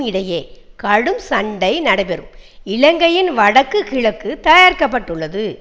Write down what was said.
இடேயே கடும் சண்டை நடைபெறும் இலங்கையின் வடக்கு கிழக்கு தயாரிக்கப்பட்டுள்ளது